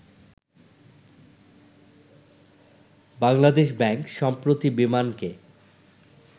Bangladesh bank সম্প্রতি বিমানকে